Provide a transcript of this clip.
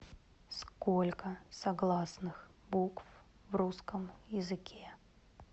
сколько согласных букв в русском языке